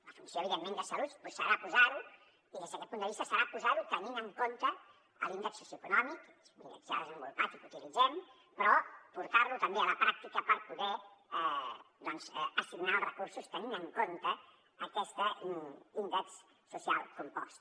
la funció evidentment de salut serà posar ho i des d’aquest punt de vista serà posar ho tenint en compte l’índex socioeconòmic que és un índex ja desenvolupat i que utilitzem però portar lo també a la pràctica per poder doncs assignar els recursos tenint en compte aquest índex social compost